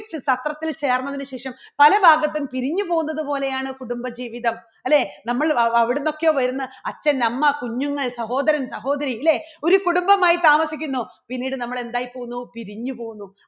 സത്രത്തിൽ ചേർന്നതിന് ശേഷം പല ഭാഗത്തും പിരിഞ്ഞു പോകുന്നത് പോലെയാണ് കുടുംബജീവിതം. അല്ലേ? നമ്മൾ വവ എവിടുന്നൊക്കെയോ വരുന്ന അച്ഛൻ, അമ്മ, കുഞ്ഞുങ്ങൾ സഹോദരൻ, സഹോദരി ഇല്ലേ ഒരു കുടുംബമായി താമസിക്കുന്നു പിന്നീട് നമ്മൾ എന്തായി പോകുന്നു പിരിഞ്ഞു പോകുന്നു.